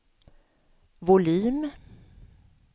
volym